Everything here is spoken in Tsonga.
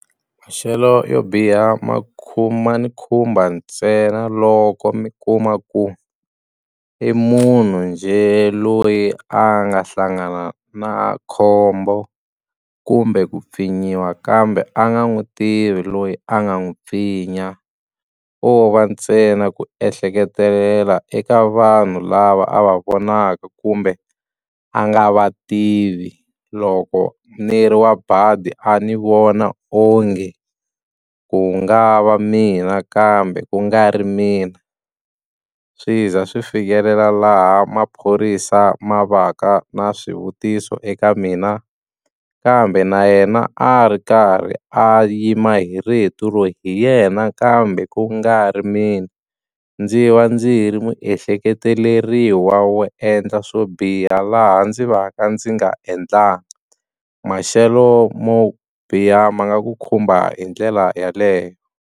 Maxelo yo biha makhuma ni khumba ntsena loko mi kuma ku i munhu njhe loyi a nga hlangana na khombo kumbe ku pfinyiwa kambe a nga n'wi tivi loyi a nga n'wi pfinya ko va ntsena ku ehleketelela eka vanhu lava a va vonaka kumbe a nga va tivi loko ni ri wa badi a ni vona onge ku nga va mina kambe ku nga ri mina swi za swi fikelela laha maphorisa ma va ka na swivutiso eka mina kambe na yena a ri karhi a yima hi rito ro loyi hi yena kambe ku nga ri mina ndzi va ndzi ri muehleketeleriwa wo endla swo biha laha ndzi va ka ndzi nga endlangi maxelo mo biha ma nga ku khumba hi ndlela yaleyo.